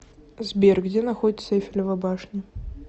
сбер где находится эйфелева башня